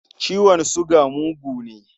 Ciwon suga mugu ne.